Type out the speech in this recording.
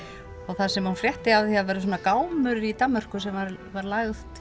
þar sem hún frétti af því að það væri svona gámur í Danmörku sem væri lagt